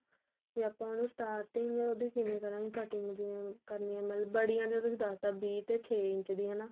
ਵੀ ਆਪਾਂ ਨੂੰ starting ਉਹਦੀ ਕਿਵੇਂ ਕਰਾਂਗੇ cutting ਜਿਵੇਂ ਕਰਨੀ ਏ ਮਤਲਬ ਬੜਿਆ ਜੋ ਤੁਸੀਂ ਦੱਸ ਤਾਂ ਵੀਹ ਤੇ ਛੇ ਇੰਚ ਦੀ ਹਨਾ